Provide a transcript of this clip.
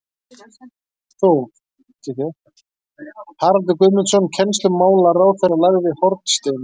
Haraldur Guðmundsson kennslumálaráðherra lagði hornsteininn